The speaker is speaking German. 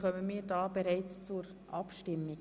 Dann kommen wir hiermit zur Abstimmung.